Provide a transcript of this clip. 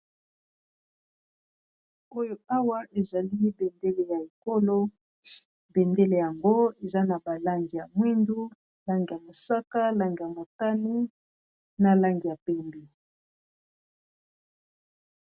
Oyo awa ezali bendele ya ekolo bendele yango eza na balangi ya mwindu langi ya mosaka langi ya motani na langi ya pembe.